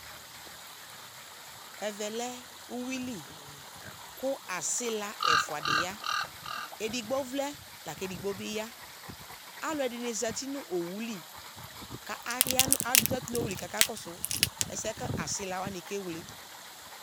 Ɛvɛ lɛ uyuili , kʋ asɩla ɛfʋadɩ ya; edigbo vlɛ lak'edigbo bɩ ya Alʋɛdɩnɩ zati nʋ owu li ka aya nʋ azati n'owu li k'aka kɔsʋ ɛsɛɛ asɩlawanɩ kewle